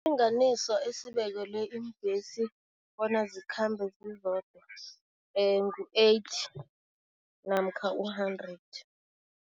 Esibekwele iimbhesi bona zikhambe zizodwa ngu-eighty namkha u-hundred.